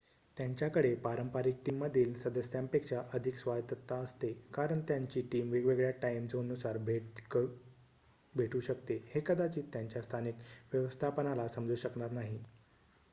त्यांच्याकडे पारंपरिक टीममधील सदस्यांपेक्षा अधिक स्वायत्तता असते कारण त्यांची टीम वेगवेगळ्या टाईम झोननुसार भेटू शकते हे कदाचित त्यांच्या स्थानिक व्यवस्थापनाला समजू शकणार नाही